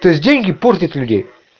то есть деньги портят людей